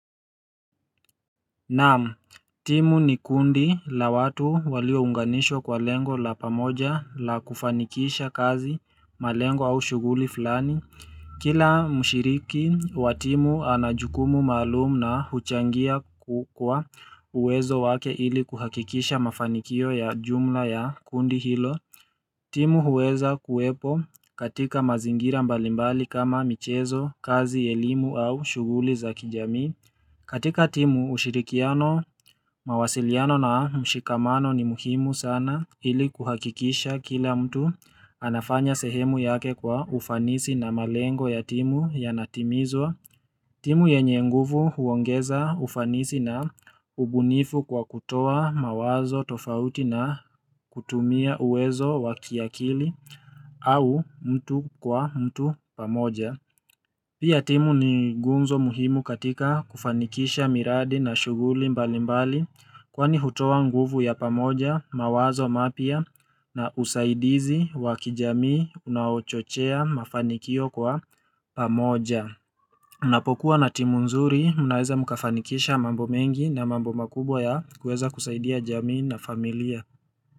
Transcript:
Naam, timu ni kundi la watu waliounganishwa kwa lengo la pamoja la kufanikisha kazi malengo au shughuli fulani. Kila mshiriki wa timu anajukumu maalum na huchangia kwa uwezo wake ili kuhakikisha mafanikio ya jumla ya kundi hilo. Timu huweza kuwepo katika mazingira mbalimbali kama michezo, kazi, elimu au shughuli za kijamii. Katika timu ushirikiano, mawasiliano na mshikamano ni muhimu sana ili kuhakikisha kila mtu anafanya sehemu yake kwa ufanisi na malengo ya timu yanatimizwa. Timu yenye nguvu huongeza ufanisi na ubunifu kwa kutoa mawazo tofauti na kutumia uwezo wakiakili au mtu kwa mtu pamoja. Pia timu ni gunzo muhimu katika kufanikisha miradi na shughuli mbalimbali kwani hutowa nguvu ya pamoja mawazo mapya na usaidizi wa kijamii unaochochea mafanikio kwa pamoja. Mnapokuwa na timu nzuri mnaweza mukafanikisha mambo mengi na mambo makubwa ya kueza kusaidia jamii na familia.